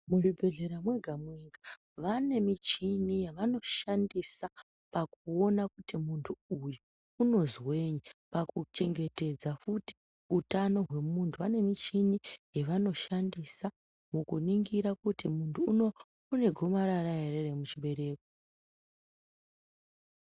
Muzvibhedhlera mwega-mwega vane michini yavanoshandisa pakuona kuti muntu uyu unozwei pakuchengetedza futi utano hwemuntu vane michini yavanoshandisa mukuningira kuti muntu uno une gomarara ere remuchibereko.